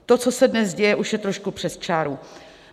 To, co se dnes děje, už je trošku přes čáru.